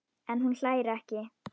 En hún hlær ekki.